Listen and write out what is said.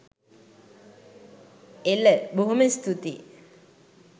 එල! බොහොම ස්තූතියි